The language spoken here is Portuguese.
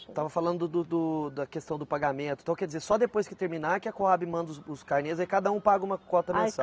Estava falando do do da questão do pagamento, então quer dizer, só depois que terminar que a Coabe manda os os carnês aí cada um paga uma cota mensal?